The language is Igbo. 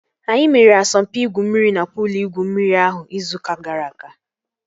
Anyị mere asọmpi igwu mmiri na puul igwu mmiri ahụ izu ụka gara aga